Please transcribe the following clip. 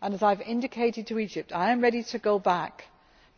And as I have indicated to Egypt, I am ready to go back